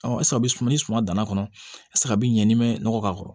ɛseke a bɛ suma ni suma danna kɔnɔ e tɛ se a bɛ ɲɛ n'i mɛn nɔgɔ k'a kɔrɔ